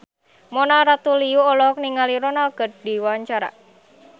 Mona Ratuliu olohok ningali Ronaldo keur diwawancara